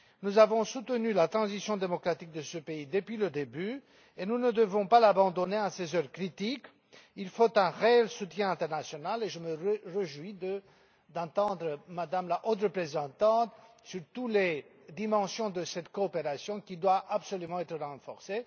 Nous avons soutenu la transition démocratique de ce pays depuis le début et nous ne devons pas l'abandonner en ces heures critiques. Il faut un réel soutien international et je me réjouis d'entendre Mme la Haute Représentante sur toutes les dimensions de cette coopération qui doit absolument être renforcée.